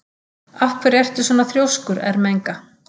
Af hverju ertu svona þrjóskur, Ermenga?